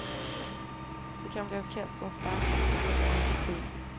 Det kan bli orkesterns starkaste på länge. punkt